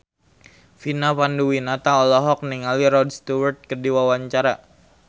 Vina Panduwinata olohok ningali Rod Stewart keur diwawancara